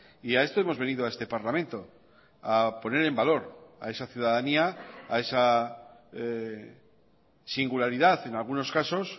y a esto hemos venido a este parlamento a poner en valor a esa ciudadanía a esa singularidad en algunos casos